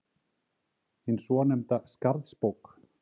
hin svonefnda Skarðsbók.